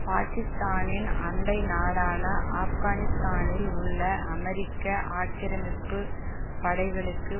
பாக்கிஸ்தானின் அண்டை நாடான ஆப்கானிஸ்தானில் உள்ள அமெரிக்க ஆக்கிரமிப்பு படைகளுக்கு